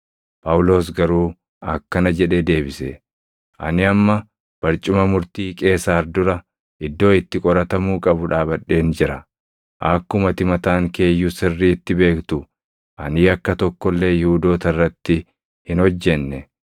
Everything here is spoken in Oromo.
Phaawulos garuu akkana jedhee deebise; “Ani amma barcuma murtii Qeesaar dura, iddoo itti qoratamuu qabu dhaabadheen jira; akkuma ati mataan kee iyyuu sirriitti beektu ani yakka tokko illee Yihuudoota irratti hin hojjenne.